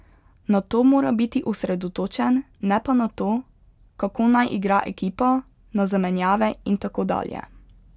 Na to mora biti osredotočen, ne pa na to, kako naj igra ekipa, na zamenjave in tako dalje.